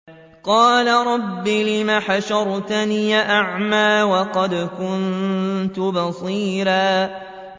قَالَ رَبِّ لِمَ حَشَرْتَنِي أَعْمَىٰ وَقَدْ كُنتُ بَصِيرًا